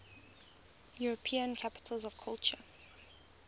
european capitals of culture